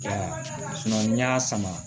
n'i y'a sama